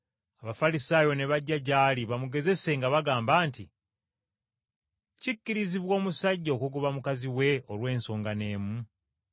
Abafalisaayo ne bajja gy’ali bamugezese nga bagamba nti, “Kikkirizibwa omusajja okugoba mukazi we olw’ensonga n’emu?”